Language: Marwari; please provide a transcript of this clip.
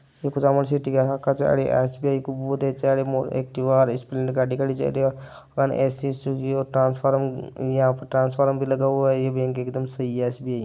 एक कुचामन सिटी यहा का एस_बी_आई वो चार मोड़ एक्टिवा और स्प्लेंडर गाड़ी खड़ी छे ट्रान्सफर यहा पे ट्रान्सफर पर भी लगा हुआ है ये बेंक एक दम सही है। एस_बी_आई --